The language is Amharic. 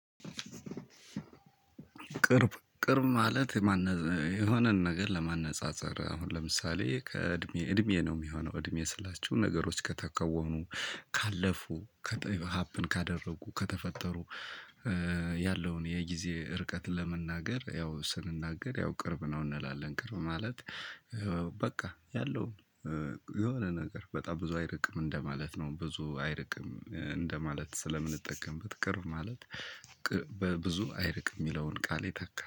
ቅርብ ቅርብ ማለት የሆነን ነገር ለማነፃፀር አሁን ለምሳሌ ከእድሜ እድሜ ነው የሚሆነው እድሜ ስላችሁ ነገሮች ከተከወኑ ካለፉ ሀፕን ካደረጉ ከተፈጠሩ ያለውን የጊዜ ርቀት ለመናገር ያው ስንናገር ያው ቅርብ ነው እንላለን። ቅርብ ማለት በቃ ያለው የሆነ ነገር በጣም ብዙ አይርቅም እንደማለት ነው። ብዙ አይርቅም እንደማለት ስለምንጠቀምበት ቅርብ ማለት ብዙ አይርቅ የሚለውን ቃል ይተካል።